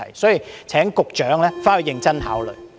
因此，請局長回去認真考慮。